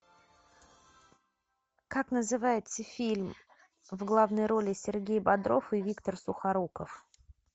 как называется фильм в главной роли сергей бодров и виктор сухоруков